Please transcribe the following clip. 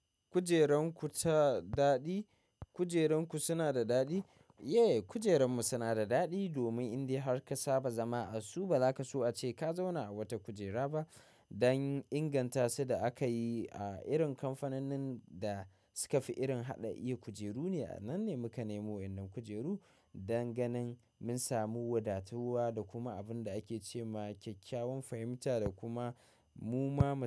Kujerun ku suna da daɗi? Kujerun ku suna da daɗi? Yeah, kujerun mu suna da daɗi domin indai har ka saba zama a su bazaka so a ce ka zauna a wata kujera ba. Dan ingantasu da aka yi a irin kamfanonin da suka fi irin haɗa iya kujeru ne. Nanne muka nemo waɗannan kujeru. Dan ganin mun samu wadatuwa da kuma abin da ake ce ma kyakkyawan fahimta da kuma mu ma.